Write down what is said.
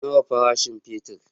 Nawa farashin fetir?